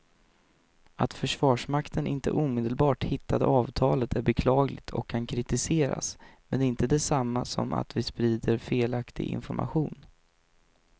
Att försvarsmakten inte omedelbart hittade avtalet är beklagligt och kan kritiseras men det är inte det samma som att vi sprider felaktig information.